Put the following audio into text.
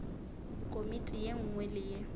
komiti ye nngwe le ye